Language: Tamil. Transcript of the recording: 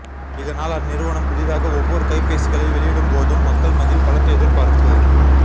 இதனால் அந்நிறுவனம் புதிதாக ஒவ்வொரு கைப்பேசிகளை வெளியிடும்போதும் மக்கள் மத்தியில் பலத்த எதிர்பா